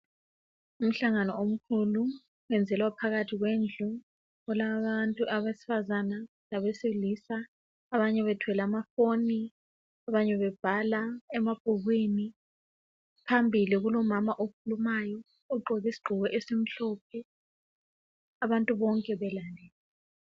Umhlangano omkhulu wenzelwa phakathi kwendlu. Kulabantu abesifazana labesilisa. Abanye bathwele amafoni, abanye babhala emabhukwini. Phambili kulomama okhulumayo, ugqoke isigqoko esimhlophe. Abantu bonke balalele.